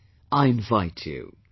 Come, I invite you